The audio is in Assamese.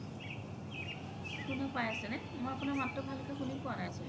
শুনা পাই আছে নে মই আপোনাৰ মাততো ভালকে শুনি পুৱা নাই আচলতে